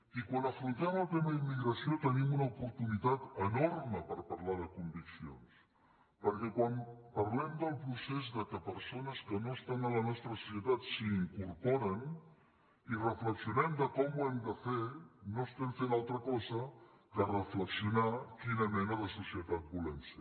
i quan afrontem el tema immigració tenim una oportunitat enorme per parlar de conviccions perquè quan parlem del procés de persones que no estan a la nostra societat i s’hi incorporen i reflexionem de com ho hem de fer no estem fem altra cosa que reflexionar quina mena de societat volem ser